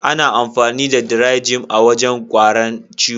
Ana amfani da "Dry-Jim " a wajen guaran ciwo.